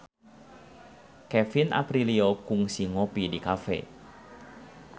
Kevin Aprilio kungsi ngopi di cafe